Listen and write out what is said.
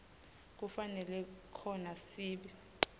kufanele khona sib